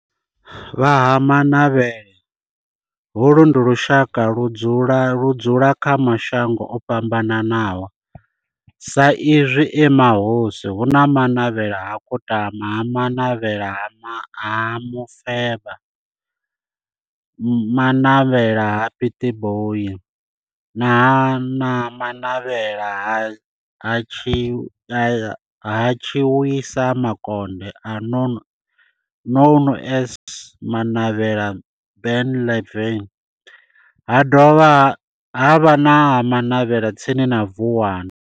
Vha Ha-Manavhela, holu ndi lushaka ludzula kha mashango ofhambanaho sa izwi e mahosi hu na Manavhela ha Kutama, Manavhela ha Mufeba, Manavhela ha Pietboi na Manavhela ha Tshiwisa Makonde known as Manavhela Benlavin ha dovha havha na Manavhela tsini na Vuwani.